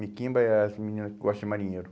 Miquimba é as menina que gosta de marinheiro.